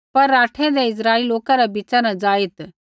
पर राठैंदै इस्राइली लोकै रै बीच़ा न ज़ाईत्